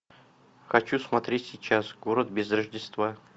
хочу смотреть сейчас город без рождества